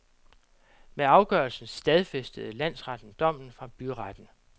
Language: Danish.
Med afgørelsen stadfæstede landsretten dommen fra byretten.